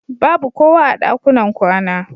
Babu kowa a ɗakunan kwana.